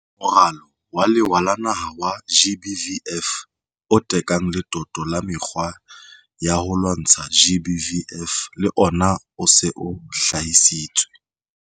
Moralo wa Lewa wa Naha wa GBVF, o tekang letoto la mekgwa ya ho lwantsha GBVF, le ona o se o hlahisitswe.